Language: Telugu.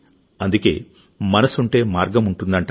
అందుకే మనసుంటే మార్గముంటుందంటారు